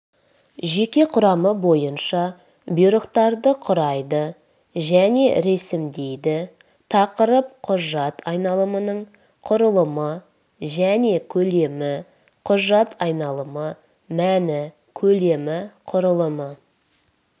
жеке құрам бойынша бұйрықтарды құрайды және ресімдейді тақырып құжат айналымының құрылымы және көлемі құжат айналымы мәні көлемі құрылымы